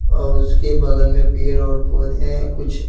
और उसके बगल में पेड़ और पौधे हैं कुछ --